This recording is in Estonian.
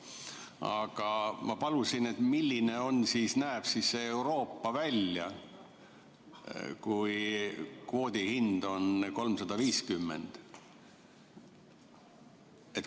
Aga ma palusin, milline näeb Euroopa välja siis, kui kvoodi hind on 350.